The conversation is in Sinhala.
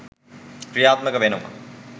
ක්‍රියාත්මක වෙනවා.